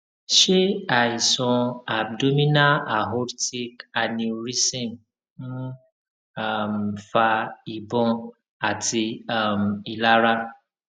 ṣé àìsàn abdominal aortic aneurysm ń um fa ìbòn àti um ìlara